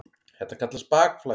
Þetta kallast bakflæði.